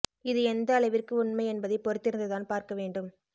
இது எந்த அளவிற்கு உண்மை என்பதை பொறுத்திருந்து தான் பார்க்க வேண்டும்